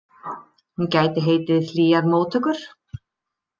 Hún gæti heitið Hlýjar móttökur.